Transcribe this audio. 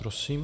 Prosím.